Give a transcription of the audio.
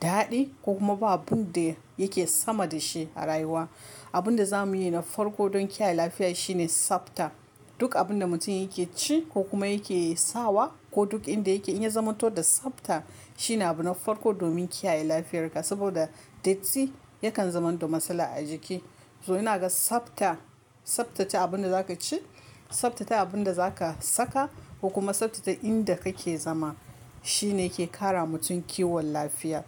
daɗi ko kuma ba abun da yake sama da shi a rayuwa. Abun da za mu yi na farko don kiyaye lafiya shine tsabta. Duk abun da mutum yake ci ko kuma yake sawa ko duk inda yake in ya zama toh da tsabta shine abu na farko domin kiyaye lafiyarka. Saboda datti yakan zamanto matsala a jiki. To ina ga tsabta, tsabtace abun da za ka ci, tsabtace abun da za ka saka ko kuma tsabtace inda kake zama shine ke ƙara mutum kiwon lafiya.